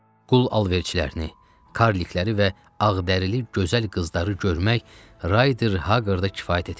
Qul alverçilərini, karlikləri və ağdərili gözəl qızları görmək Rayder Hagqarda kifayət etmişdi.